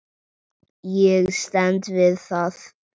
Ég stend við það.